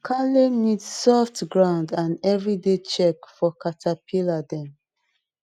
kale need soft ground and everyday check for caterpillar dem